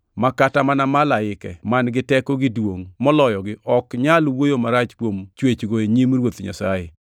ma kata mana malaike man-gi teko gi duongʼ moloyogi ok nyal wuoyo marach kuom chwechgo e nyim Ruoth Nyasaye.